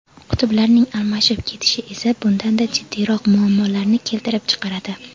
Qutblarning almashib ketishi esa bundanda jiddiyroq muammolarni keltirib chiqaradi.